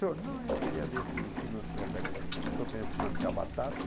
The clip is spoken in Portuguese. Senhor, não, eu queria ver se financia a car... Estou querendo financiar a batata.